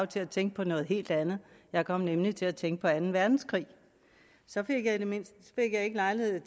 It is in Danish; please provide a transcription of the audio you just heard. til at tænke på noget helt andet jeg kom nemlig til at tænke på anden verdenskrig så fik jeg ikke lejlighed